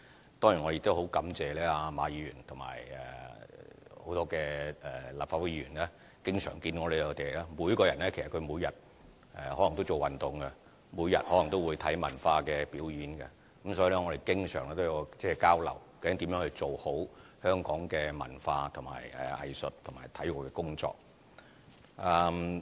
我當然也很感謝馬議員和很多立法會議員，他們每人每天也可能會做運動，每天也可能會看文化表演，所以我們經常有交流，看看究竟如何做好香港文化、藝術和體育的工作。